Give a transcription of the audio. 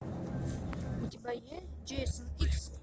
у тебя есть джейсон икс